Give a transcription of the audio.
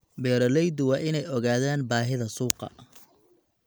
Beeralayda waa inay ogaadaan baahida suuqa.